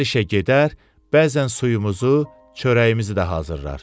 Hər işə gedər, bəzən suyumuzu, çörəyimizi də hazırlar.